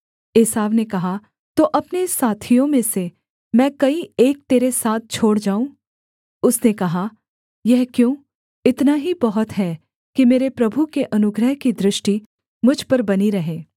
एसाव ने कहा तो अपने साथियों में से मैं कई एक तेरे साथ छोड़ जाऊँ उसने कहा यह क्यों इतना ही बहुत है कि मेरे प्रभु के अनुग्रह की दृष्टि मुझ पर बनी रहे